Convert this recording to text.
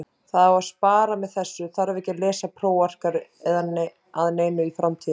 Það á að spara með þessu, þarf ekki að lesa prófarkir að neinu í framtíðinni.